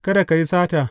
Kada ka yi sata.